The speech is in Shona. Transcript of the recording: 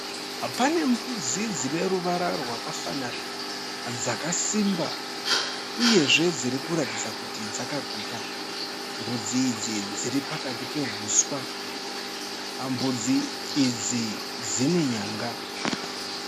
Pane mbudzi dzineruvara rwakafanana dzakasimba uyezve dzirikuratidza kuti dzakaguta. Mbudzi idzi dziripakati pehuswa. Mbudzi idzi dzine nyanga.